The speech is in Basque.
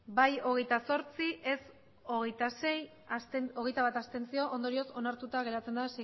bai hogeita zortzi ez hogeita sei abstentzioak hogeita bat ondorioz onartuta geratzen da